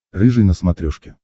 рыжий на смотрешке